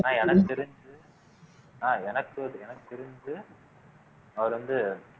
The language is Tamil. நான் எனக்கு தெரிஞ்சு எனக்கு தெ எனக்கு தெரிஞ்சு அவர் வந்து